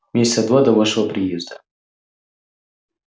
месяца два до вашего приезда